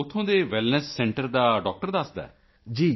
ਉੱਥੋਂ ਦੇ wellness centre ਦਾ ਡਾਕਟਰ ਦੱਸਦਾ ਹੈ